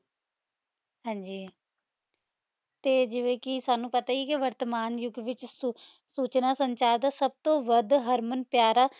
ਵੀ ਲਾਵਾਂ ਕੋਈ ਹਾਂਜੀ ਤੇ ਜਿਵੇਂ ਕੇ ਸਾਨੂ ਪਤਾ ਏ ਆਯ ਕੀ ਵਾਰ੍ਡਮੈਨ ਯੁਗ ਵਿਚ ਸੁਖ ਸੋਚਣਾ ਪੋਹ੍ਨ੍ਚਨ ਦਾ ਸਬ ਤੋਂ ਵਧ ਹਰਮਨ ਪ੍ਯਾਰ